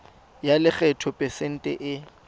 ya lekgetho phesente e